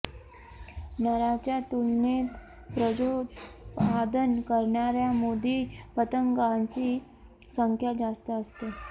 नराच्या तुलनेत प्रजोत्पादन करणाऱ्या मादी पतंगांची संख्या जास्त असते